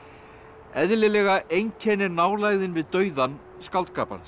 eðlilega einkennir nálægðin við dauðann skáldskap hans